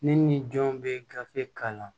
Ne ni jɔn bɛ gafe kalan